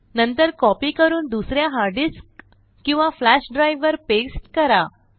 नंतर कॉपी करून दुस या हार्ड डिस्क किंवा फ्लॅश ड्राइव वर पास्ते करा